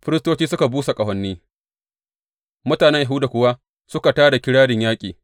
Firistoci suka busa ƙahoni mutanen Yahuda kuwa suka tā da kirarin yaƙi.